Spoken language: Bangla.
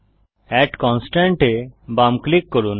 এড কনস্ট্রেইন্ট এ বাম ক্লিক করুন